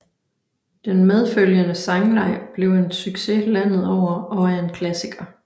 Den medfølgende sangleg blev en succes landet over og er en klassiker